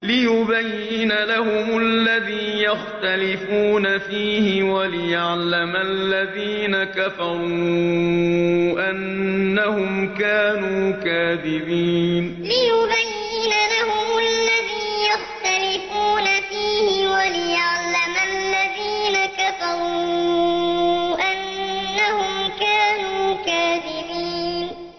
لِيُبَيِّنَ لَهُمُ الَّذِي يَخْتَلِفُونَ فِيهِ وَلِيَعْلَمَ الَّذِينَ كَفَرُوا أَنَّهُمْ كَانُوا كَاذِبِينَ لِيُبَيِّنَ لَهُمُ الَّذِي يَخْتَلِفُونَ فِيهِ وَلِيَعْلَمَ الَّذِينَ كَفَرُوا أَنَّهُمْ كَانُوا كَاذِبِينَ